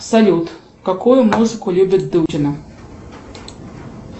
салют какую музыку любит дутина